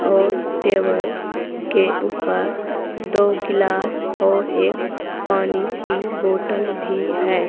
और टेबल के ऊपर दो गिलास और एक पानी की बॉटल भी है।